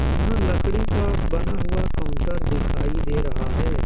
यहां लकड़ी का बना हुआ काउंटर दिखाई दे रहा है।